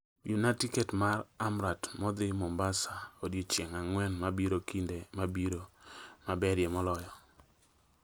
Yuna tiket ma amtrak modhi mombasa odiechieng' ang'wen mabiro kinde mabiro maberie moloyo